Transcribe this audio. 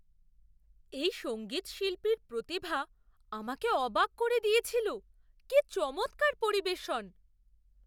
এই সঙ্গীতশিল্পীর প্রতিভা আমাকে অবাক করে দিয়েছিল। কি চমৎকার পরিবেশন!